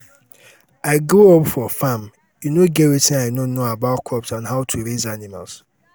i grow up for farm e no get wetin i no know about crops and how to raise animals